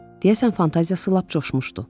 Deyəsən fantaziyası lap coşmuşdu.